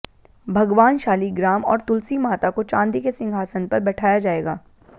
भगवान शालिग्राम और तुलसी माता को चांदी के सिंहासन पर बैठाया जाएगा